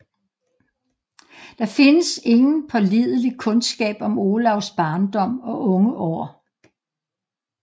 Der findes ingen pålidelig kundskab om Olavs barndom og unge år